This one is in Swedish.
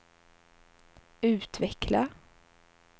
utveckla